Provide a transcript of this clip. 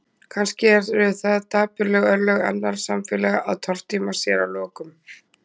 Kannski eru það dapurleg örlög annarra samfélaga að tortíma sér að lokum.